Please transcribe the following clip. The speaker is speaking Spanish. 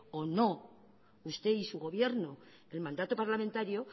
o no usted y su gobierno el mandato parlamentario